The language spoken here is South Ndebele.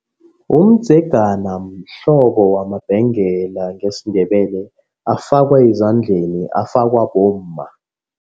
Umdzegana mhlobo wamabhengela ngesiNdebele afakwe ezandleni afakwa bomma.